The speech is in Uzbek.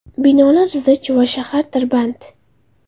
Binolar zich va shahar tirband.